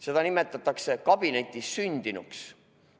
Seda nimetatakse kabinetis sündinuks.